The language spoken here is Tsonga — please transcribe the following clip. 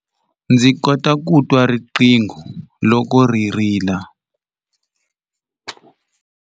Ndzi kota ku twa riqingho loko ri rila.